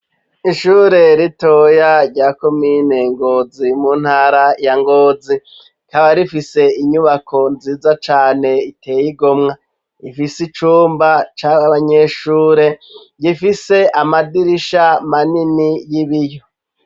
Ishure ritoya rya komine Ngozi mu ntara ya Ngozi ,rikaba rifise inyubako nziza cane iteye igomwe, rifise icumba c'abanyeshure gifise amadirisha manini y'ibiyo.